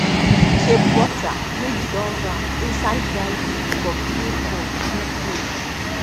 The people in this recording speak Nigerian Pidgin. keep butter wey you don wrap inside dry leaf for clay pot wey cold